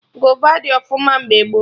Gova dị ọfụma mgbe gboo